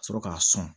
Ka sɔrɔ k'a sɔn